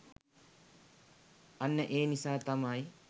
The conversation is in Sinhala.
අන්න ඒ නිසා තමයි